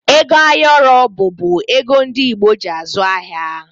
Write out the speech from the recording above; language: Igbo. Ego ayọrọ bụbu ego ndi Igbo ji azụ ahịa